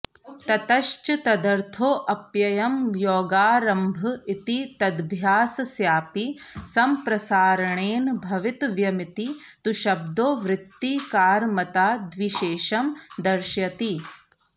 ततश्च तदर्थोऽप्ययं योगारम्भ इति तदभ्यासस्यापि सम्प्रसारणेन भवितव्यमिति तुशब्दो वृत्तिकारमताद्विशेषं दर्शयति